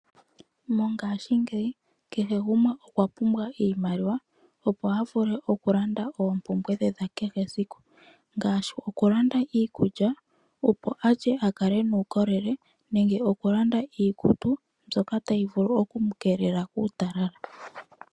Mongashingeyi kehe gumwe okwa pumbwa iimaliwa opo a vule oku landa oompumbwe dhe dha kehe esiku, ngaashi oku landa iikulya opo a lye a kale e na uukolele nenge iikutu mbyoka tayi vulu oku keelela uutalala.